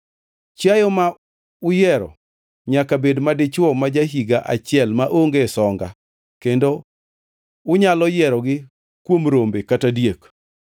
Chiayo ma uyiero nyaka bed madichwo ma ja-higa achiel maonge songa kendo unyalo yierogi kuom rombe kata diek.